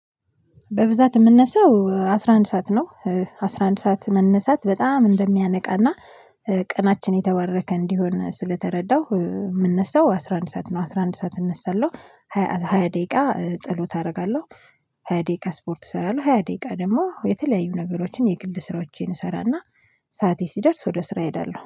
በብዛት የምነሳው አስራ አንድ ሰዓት ነው አስራ አንድ ሰዓት መነሳት በጣም እንደሚያነቃና ቀናችን የተባረከ እንዲሆን ስለተረዳሁ የምነሳው አስራ አንድ ሰዓት ነው። አስራ አንድ ሰዓት እነሳለሁ ሃያ ደቂቃ ጸሎት አደርጋለሁ ሃያ ደቂቃ ስፖርት እሰራለሁ ሃያ ደቂቃ ደግሞ የተለያዩ ነገሮችን የግል ስራዎችን እሰራና ሰዓቴ ሲደርስ ወደ ስራ እሄዳለሁ።